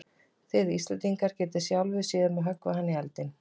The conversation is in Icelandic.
Þið Íslendingar getið sjálfir séð um að höggva hana í eldinn.